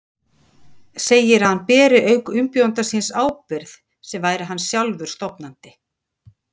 Segir að hann beri auk umbjóðanda síns ábyrgð sem væri hann sjálfur stofnandi.